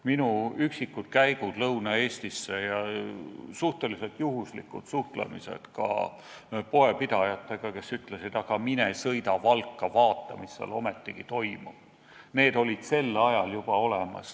Minu üksikud käigud Lõuna-Eestisse ja suhteliselt juhuslikud suhtlemised ka poepidajatega, kes ütlesid, aga sõida Valka ja vaata, mis seal ometigi toimub, on näidanud, et probleem oli sel ajal juba olemas.